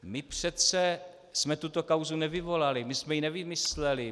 My přece jsme tuto kauzu nevyvolali, my jsme ji nevymysleli.